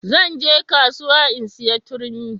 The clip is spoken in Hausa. Zan je kasuwa in saya turmi